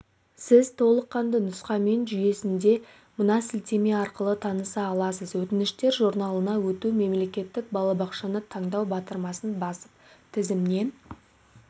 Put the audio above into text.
сіз толыққанды нұсқамамен жүйесінде мынасілтемеарқылы таныса аласыз өтініштер журналына өту мемлекеттік балабақшаны таңдау батырмасын басып тізімнен